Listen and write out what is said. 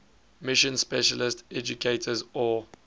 mission specialist educators or